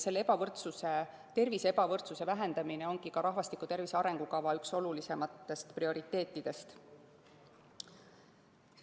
Selle ebavõrdsuse – tervise ebavõrdsuse – vähendamine ongi rahvastiku tervise arengukava üks prioriteetidest.